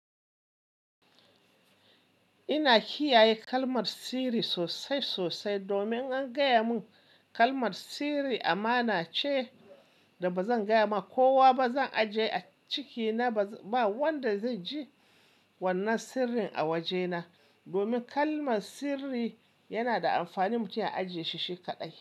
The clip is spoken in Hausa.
Ina kiyaye kalmar sirri sosai sosai domin an gaya mun kalmar sirri amana ce da ba zan gaya ma kowa ba, zan ajiye a cikina. Ba wanda zai ji wannan sirrin a wajena domin kalmar sirri yana da amfani mutum ya ajiye shi shi kaɗai.